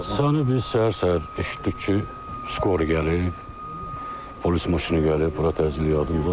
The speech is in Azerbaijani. Hadisəni biz səhər-səhər eşitdik ki, skoru gəlib, polis maşını gəlib, bura təcili yardım yığılıb.